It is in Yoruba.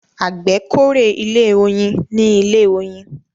àgbè k'ore ilé oyin ní ilè oyin